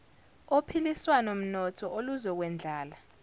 ophiliswano mnotho oluzokwendlala